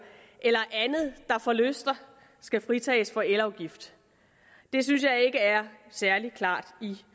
eller andet der forlyster skal fritages for elafgift det synes jeg ikke er særlig klart i